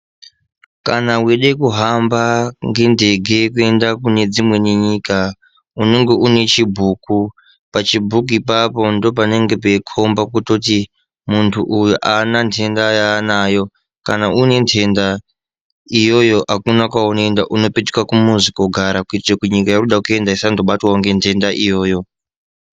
Kana weide kuhamba ngendege kuende kunedzimweni nyika unenge unechibhuku pachibhuku apapo ndipo panenge peitokomba kutoti muntu uyu aana nhenda yaanayo kana uine nhenda iyoyo akuna kwaunoenda unopetuka kumuzi koogara kuitira kutinyika yauri kude kuenda isandobatwawo ngenhenda iyoyo.